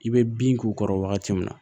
I bɛ bin k'u kɔrɔ wagati min na